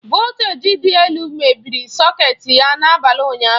Voltaji dị elu mebiri sọketi ya na-abalị ụnyaahụ.